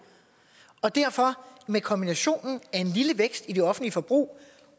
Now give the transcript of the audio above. og derfor kan kombinationen af en lille vækst i det offentlige forbrug